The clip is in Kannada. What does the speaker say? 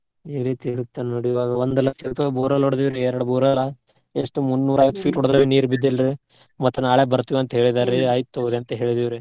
ಈ ರೀತಿ election ನಡಿಯುವಾಗ ಒಂದ್ ಲಕ್ಷ ರುಪಾಯ್ borewell ಹೊಡ್ದೆವ್ ರೀ ಎರ್ಡ್ borewell ಎಷ್ಟ್ ಮುನ್ನುರ ಹತ್ತ್ ಹೊಡದ್ರ ನೀರ್ ಬಿದ್ದಿಲ್ರಿ ಮತ್ ನಾಳೆ ಬರ್ತಿವಂತ ಹೇಳಿದಾರ್ರಿ ಆಯಿತ್ ತುಗೋರಿ ಅಂತ್ ಹೇಳಿದೇವ್ರಿ.